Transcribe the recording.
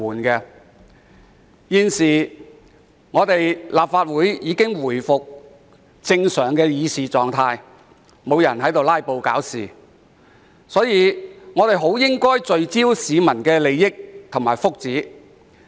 由於本會現已回復正常的議事狀態，沒有人"拉布"搞事，所以我們應聚焦在市民的利益和福祉。